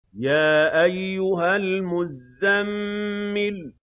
يَا أَيُّهَا الْمُزَّمِّلُ